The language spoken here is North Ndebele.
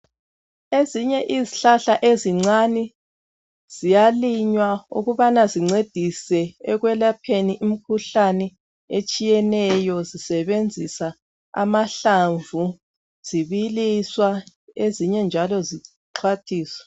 Ezinye izihlahla ezincane ziyalinywa ukubana zincedise ekwelapheni imikhuhlane etshiyeneyo zisebenzisa amahlamvu zibiliswa ezinye njalo zixhwathiswa.